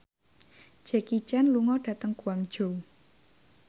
Jackie Chan lunga dhateng Guangzhou